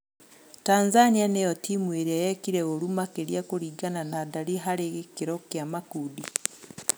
Tanzania nĩyo timu ĩrĩa yekire ũru makĩria kũringana na ndari harĩ gĩkĩro kĩa makundi.